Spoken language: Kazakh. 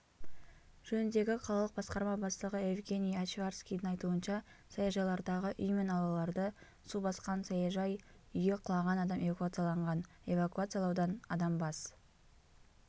жөніндегі қалалық басқарма бастығы евгений овчарскийдің айтуынша саяжайлардағы үй мен аулаларды су басқан саяжай үйі құлаған адам эвакуацияланған эвакуациялаудан адам бас